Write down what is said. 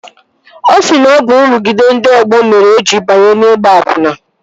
Ọ sị na ọ bụ nrụgide ndị ọgbọ mere o jiri banye n'ịgba akwụna